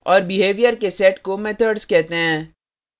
और behaviors के set को methods कहते हैं